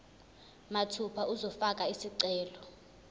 mathupha uzofaka isicelo